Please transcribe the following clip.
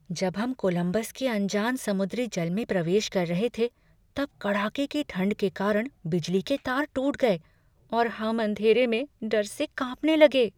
जब हम कोलंबस के अनजान समुद्री जल में प्रवेश कर रहे थे तब कड़ाके की ठंड के कारण बिजली के तार टूट गए और हम अंधेरे में डर से कांपने लगे।